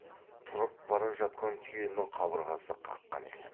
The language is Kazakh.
тұрып бара жатқан түйенің қабырғасы қаққан екен